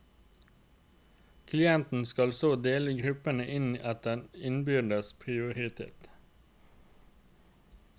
Klienten skal så dele gruppene inn etter innbyrdes prioritet.